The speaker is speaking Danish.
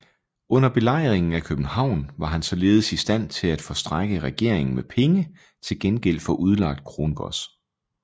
Under belejringen af København var han således i stand til at forstrække regeringen med penge til gengæld for udlagt krongods